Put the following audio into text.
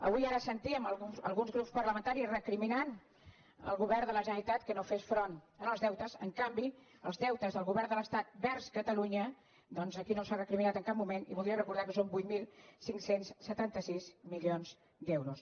avui ara sentíem alguns grups parlamentaris recriminant al govern de la generalitat que no fes front als deutes en canvi els deutes del govern de l’estat vers catalunya doncs aquí no s’han recriminat en cap moment i voldria recordar que són vuit mil cinc cents i setanta sis milions d’euros